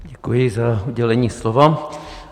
Děkuji za udělení slova.